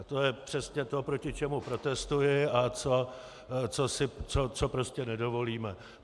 A to je přesně to, proti čemu protestuji a co prostě nedovolíme.